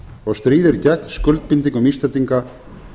og stríðir gegn skuldbindingum íslendinga